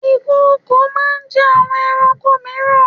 Ìkokò máa ń jẹ́ àwọn ẹranko mìíran.